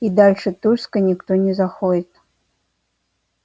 и дальше тульской никто не заходит